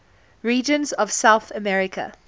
regions of south america